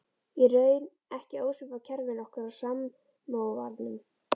Í raun ekki ósvipað kerfinu okkar á Samóvarnum.